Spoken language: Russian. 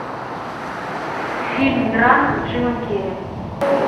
фильм драма с джимом керри